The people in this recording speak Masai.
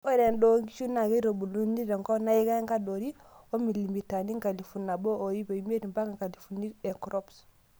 Ore endaa onkishu naa keitubuluni tenkop naikaa enkadori oo milimitani enkalifu nabo oip imiet mpaka nkalifuni crops.